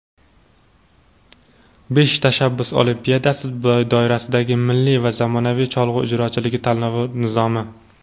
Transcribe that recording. "Besh tashabbus olimpiadasi" doirasidagi "Milliy va zamonaviy cholg‘u ijrochiligi" tanlovi nizomi.